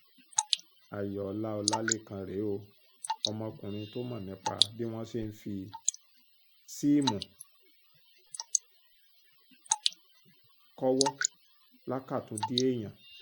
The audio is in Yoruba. ayọ̀ọ́lá ọlálékàn rèé o ọmọkùnrin tó mọ̀ nípa bí wọ́n ṣe ń fi síìmù kọ́wọ́ lákàtúndì èèyàn